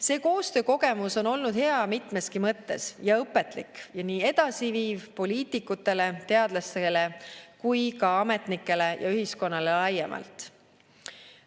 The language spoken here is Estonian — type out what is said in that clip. See koostöökogemus on olnud hea mitmeski mõttes ja õpetlik ja edasiviiv nii poliitikutele, teadlastele kui ka ametnikele ja ühiskonnale laiemalt.